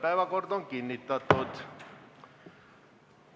Päevakord on kinnitatud.